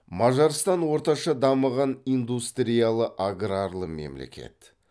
мажарстан орташа дамыған индустриялы аграрлы мемлекет